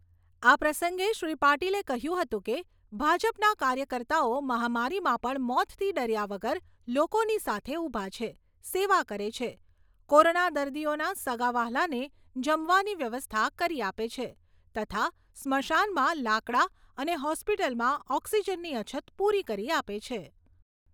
આ પ્રસંગે શ્રી પાટિલે કહ્યું હતું કે ભાજપના કાર્યકર્તાઓ મહામારીમાં પણ મોતથી ડર્યા વગર લોકોની સાથે ઊભા છે, સેવા કરે છે, કોરોના દર્દીઓના સગાંવ્હાલાને જમવાની વ્યવસ્થા કરી આપે છે તથા સ્મશાનમાં લાકડાં અને હોસ્પિટલમાં ઓક્સીજનની અછત પૂરી કરી આપે છે.